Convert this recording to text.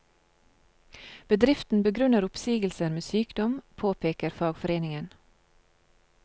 Bedriften begrunner oppsigelser med sykdom, påpeker fagforeningen.